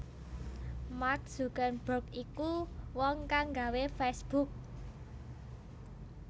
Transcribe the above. Mark Zuckerberg iku wong kang nggawe facebook